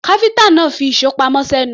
Káfíńtà náà fi ìṣó pamọ́ sẹ́nu.